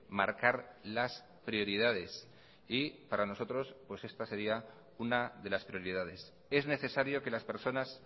marcar las prioridades y para nosotros pues está sería una de las prioridades es necesario que las personas